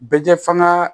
Bɛ kɛ fanga